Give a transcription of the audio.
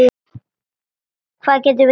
Hvað getum við gert?